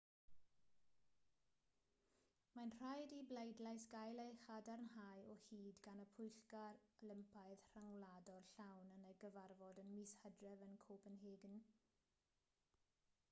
mae'n rhaid i'r bleidlais gael ei chadarnhau o hyd gan y pwyllgor olympaidd rhyngwladol llawn yn ei gyfarfod ym mis hydref yn copenhagen